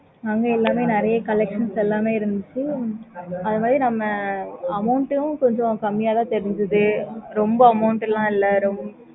okay mam